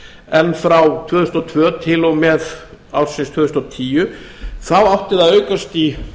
en frá tvö þúsund og tvö til og með ársins tvö þúsund og tíu átti það að aukast í